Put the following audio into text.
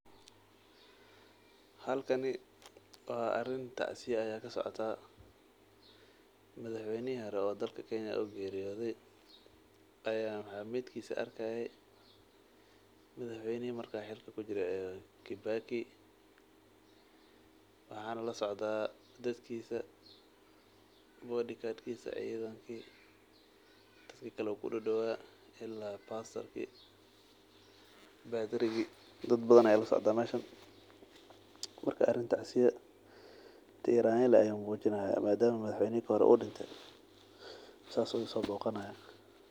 Xalkani waa arin tacsiya aya kasocota madaxweynihi hore oo dalka kenyan oo geriyodhe aya meetkisa arkaye. Midhaxweynaha marka xilka kujire aya Kibaki waxan lasocda; dadkisa, bodyguard kisa, cidhankii, dadkikale udawa ila pastor kii. Dadbadhan aya lasocda meshan marka arin tacsiya ayay mujinayan madama ay madahxweyni ka hore udimte ssa ay usoboganayan.